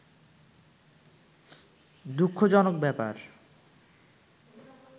দুঃখজনক ব্যাপার